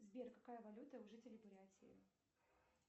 сбер какая валюта у жителей бурятии